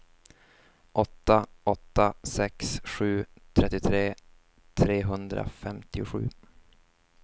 åtta åtta sex sju trettiotre trehundrafemtiosju